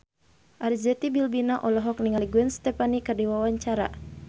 Arzetti Bilbina olohok ningali Gwen Stefani keur diwawancara